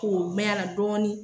k'o mɛ a la dɔɔnin